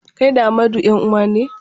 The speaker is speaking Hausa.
Kai da Amadu 'yan-uwa ne?